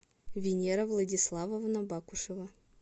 венера владиславовна бакушева